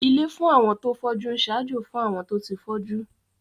Ilé fún àwọn tó fọ́jú ń ṣaájó fún àwọn tó ti fọ́jú